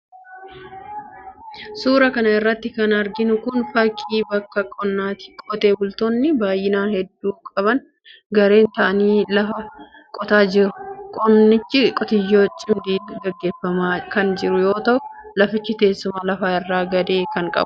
Suura kana irratti kan arginu kun, fakkii bakka qonnaati. Qotee bultoonni baay'ina hedduu qaban gareen ta'anii lfa qotaa jiru. Qonnichi qotiyoo cimdiin gaggeeffamaa kan jiru yoo ta'u, lafichi teessuma lafaa irraa gadee kan qabuudha.